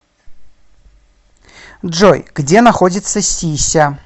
джой где находится си ся